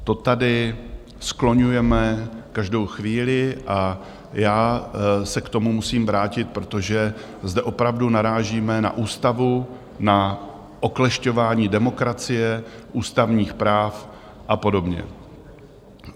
To tady skloňujeme každou chvíli a já se k tomu musím vrátit, protože zde opravdu narážíme na ústavu, na oklešťování demokracie, ústavních práv a podobně.